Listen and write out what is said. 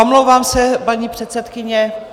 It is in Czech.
Omlouvám se, paní předsedkyně.